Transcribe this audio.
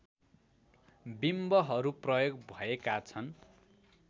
बिम्बहरू प्रयोग भएका छन्